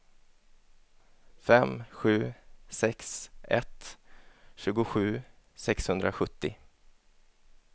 fem sju sex ett tjugosju sexhundrasjuttio